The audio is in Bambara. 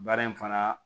Baara in fana